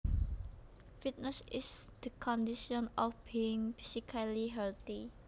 Fitness is the condition of being physically healthy